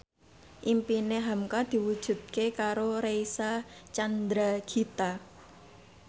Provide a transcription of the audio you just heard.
impine hamka diwujudke karo Reysa Chandragitta